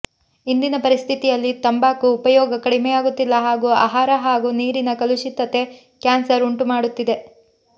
ಇಂದಿನ ಪರಿಸ್ಥಿತಿಯಲ್ಲಿ ತಂಬಾಕು ಉಪಯೋಗ ಕಡಿಮೆಯಾಗುತ್ತಿಲ್ಲ ಹಾಗೂ ಆಹಾರ ಹಾಗೂ ನೀರಿನ ಕಲುಷಿತತೆ ಕ್ಯಾನ್ಸರ್ ಉಂಟುಮಾಡುತ್ತಿದೆ